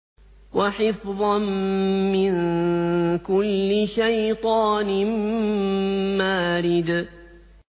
وَحِفْظًا مِّن كُلِّ شَيْطَانٍ مَّارِدٍ